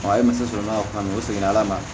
e muso sɔrɔla kuma min u seginna ala ma